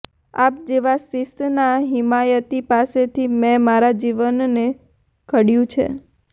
આપ જેવા શિસ્તનાં હિમાયતી પાસેથી મે મારા જીવનને ધડયું છે